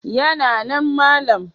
Yana nan malam.